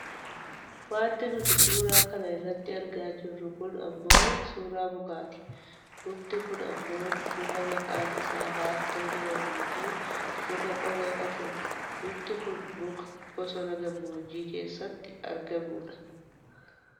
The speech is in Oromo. Wanti nuti suuraa kana irratti argaa jirru kun ammoo suuraa mukaati. Mukti kun ammoo muka maqaan isaa laaftoo jedhamuufi muka qoree qabu dha. Mukti kun muka bosona gammoojjii keessatti argamudha.